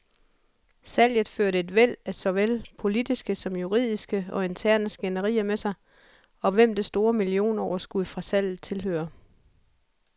Salget førte et væld af såvel politiske som juridiske og interne skænderier med sig, om hvem det store millionoverskud fra salget tilhører.